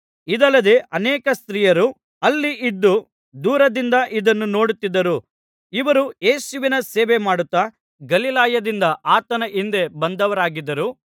ಇದಲ್ಲದೆ ಅನೇಕ ಸ್ತ್ರೀಯರು ಅಲ್ಲಿ ಇದ್ದು ದೂರದಿಂದ ಇದನ್ನು ನೋಡುತ್ತಿದ್ದರು ಇವರು ಯೇಸುವಿನ ಸೇವೆಮಾಡುತ್ತಾ ಗಲಿಲಾಯದಿಂದ ಆತನ ಹಿಂದೆ ಬಂದವರಾಗಿದ್ದರು